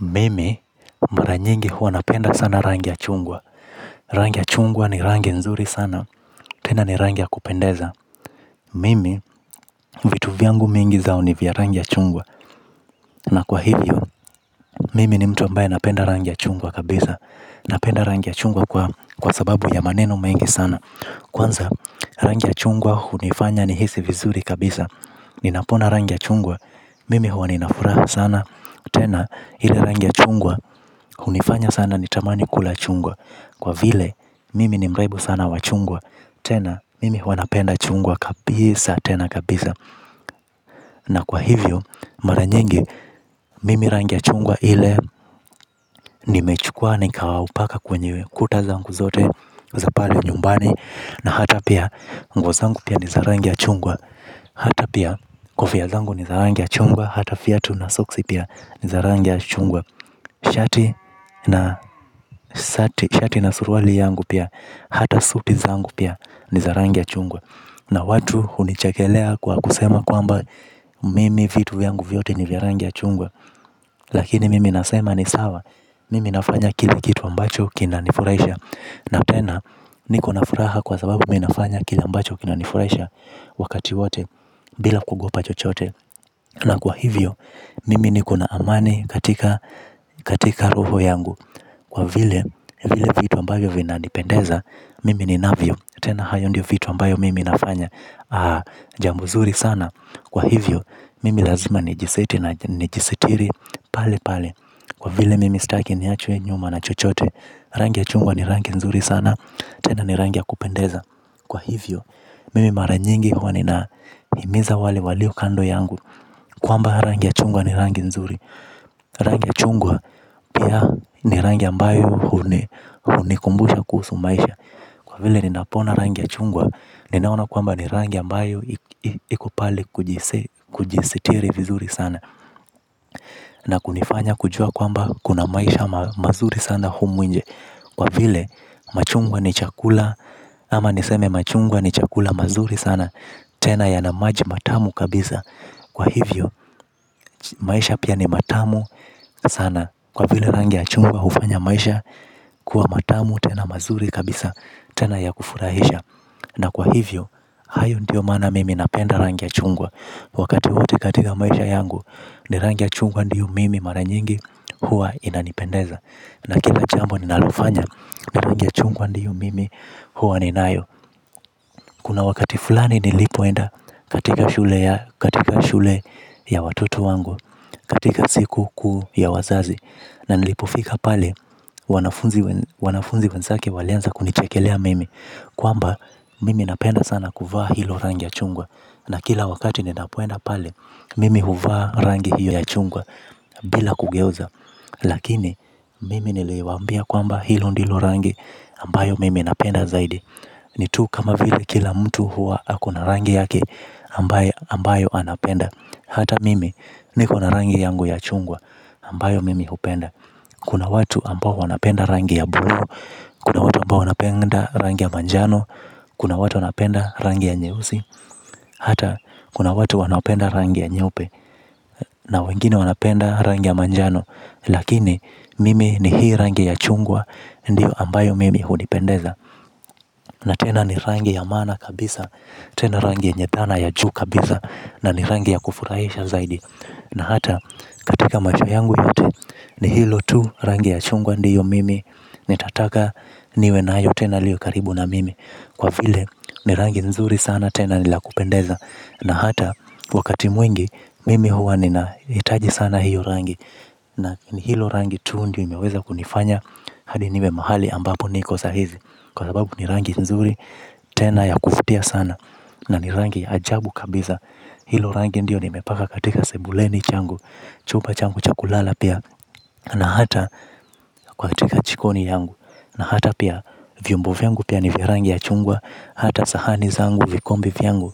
Mimi, mara nyingi huwa napenda sana rangi ya chungwa. Rangi ya chungwa ni rangi nzuri sana, tena ni rangi akupendeza. Mimi, vitu vyangu mingi zao ni vya rangi ya chungwa na kwa hivyo, mimi ni mtu ambaye napenda rangi ya chungwa kabisa. Napenda rangi ya chungwa kwa sababu ya maneno mengi sana. Kwanza, rangi ya chungwa hunifanya nihisi vizuri kabisa. Ninapoona rangi ya chungwa, mimi huwa ninafuraha sana. Tena, ile rangi ya chungwa, hunifanya sana nitamani kula chungwa kwa vile, mimi ni mraibu sana wa chungwa. Tena, mimi huwa napenda chungwa kabisa, tena kabisa na kwa hivyo, mara nyingi mimi rangi ya chungwa ile. Nimechukuwa nikaupaka kwenye kuta zangu zote za pale nyumbani na hata pia, nguo zangu pia ni za rangi ya chungwa. Hata pia, kofia zangu ni za rangi ya chungwa. Hata viatu na soksi pia ni za rangi ya chungwa. Shati na suruali yangu pia. Hata suti za yangu pia. Ni za rangi ya chungwa na watu hunichekelea kwa kusema kwamba mimi vitu vyangu vyote ni vya rangi ya chungwa. Lakini mimi nasema ni sawa. Mimi nafanya kila kitu ambacho kinanifurahisha na tena niko na furaha kwa sababu mimi nafanya kile ambacho kinanifurahisha. Wakati wote bila kuogopa chochote na kwa hivyo mimi niko na amani katika katika roho yangu. Kwa vile vile vitu ambayo vinanipendeza. Mimi ni navyo. Tena hayo ndio vitu ambayo mimi nafanya. Jambo zuri sana. Kwa hivyo mimi lazima ni jiseti na jisitiri. Pale pale. Kwa vile mimi sitaki ni achwe nyuma na chochote. Rangi ya chungwa ni rangi nzuri sana. Tena ni rangi ya kupendeza. Kwa hivyo mimi mara nyingi huwa nina himiza wale walio kando yangu kwamba rangi ya chungwa ni rangi nzuri. Rangi ya chungwa pia ni rangi ambayo hunikumbusha kuhusu maisha. Kwa vile ninapona rangi ya chungwa. Ninaona kwamba ni rangi ambayo ikopale kujisitiri vizuri sana na kunifanya kujua kwamba kuna maisha mazuri sana humu nje. Kwa vile machungwa ni chakula ama niseme machungwa ni chakula mazuri sana tena yana maji matamu kabisa kwa hivyo maisha pia ni matamu sana kwa vile rangi ya chungwa hufanya maisha kuwa matamu tena mazuri kabisa tena ya kufurahisha na kwa hivyo, hayo ndio maana mimi napenda rangi ya chungwa. Wakati wote katika maisha yangu ni rangi chungwa ndiyo mimi mara nyingi huwa inanipendeza na kila jambo ninalofanya ni rangi ya chungwa ndiyo mimi huwa ninayo. Kuna wakati fulani nilipoenda katika shule ya watoto wangu. Katika siku kuu ya wazazi na nilipofika pale wanafunzi wenzake walianza kunichekelea mimi kwamba mimi napenda sana kuvaa hilo rangi ya chungwa na kila wakati ninapoenda pale mimi huvaa rangi hiyo ya chungwa bila kugeuza. Lakini mimi niliwaambia kwamba hilo ndilo rangi ambayo mimi napenda zaidi ni tu kama vile kila mtu huwa akona rangi yake ambayo anapenda. Hata mimi nikona rangi yangu ya chungwa ambayo mimi hupenda. Kuna watu ambao wanapenda rangi ya bojo. Kuna watu ambao wanapenda rangi ya manjano. Kuna watu wanapenda rangi ya nyeusi. Hata kuna watu wanapenda rangi ya nyeupe na wengine wanapenda rangi ya manjano. Lakini mimi ni hii rangi ya chungwa. Ndiyo ambayo mimi hunipendeza. Na tena ni rangi ya maana kabisa. Tena rangi yenye dhana ya juu kabisa na ni rangi ya kufurahisha zaidi na hata katika macho yangu yote ni hilo tu rangi ya chungwa ndiyo mimi. Nitataka niwe nayo tena liwe karibu na mimi. Kwa vile ni rangi nzuri sana tena ni la kupendeza na hata wakati mwingi mimi huwa nina hitaji sana hiyo rangi na hilo rangi tu ndiyo imeweza kunifanya hadi niwe mahali ambapo niko sahizi. Kwa sababu ni rangi nzuri tena ya kuvutia sana na ni rangi ajabu kabisa. Hilo rangi ndio nimepaka katika sebuleni changu. Chumba changu cha kulala pia na hata kwa katika jikoni yangu na hata pia vyombo vyangu pia ni vya rangi ya chungwa. Hata sahani zangu vikombe vyangu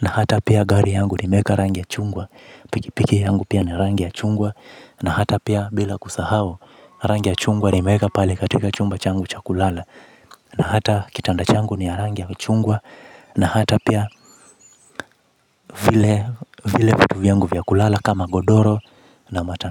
na hata pia gari yangu nimeweka rangi ya chungwa. Pikipiki yangu pia ni rangi ya chungwa na hata pia bila kusahau. Rangi ya chungwa nimeweka pale katika chumba changu cha kulala na hata kitanda changu ni ya rangi ya chungwa na hata pia vile vitu vyangu vya kulala kama godoro na matanda.